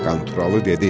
Qanturalı dedi.